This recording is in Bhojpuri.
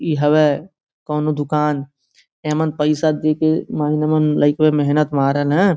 इ हवे कउनो दुकान एहमन पैसा देखें महीने-महीने लइकवे मेहनत मारन है।